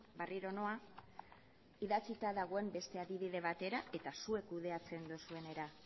berriro noa idatzita dagoen beste adibide batera eta zuek kudeatzen dozuenera